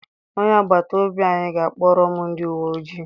Onye agbata obi anyị ga-akpọrọ m ndị uwe ojii.